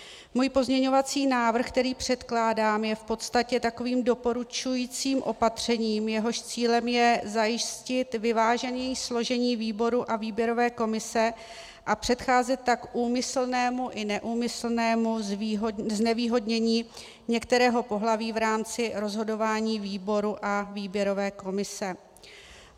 Můj pozměňovací návrh, který předkládám, je v podstatě takovým doporučujícím opatřením, jehož cílem je zajistit vyvážení složení výboru a výběrové komise a předcházet tak úmyslnému i neúmyslnému znevýhodnění některého pohlaví v rámci rozhodování výboru a výběrové komise.